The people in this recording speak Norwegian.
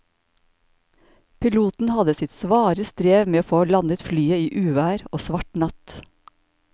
Piloten hadde sitt svare strev med å få landet flyet i uvær og svart natt.